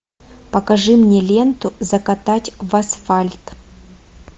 покажи мне ленту закатать в асфальт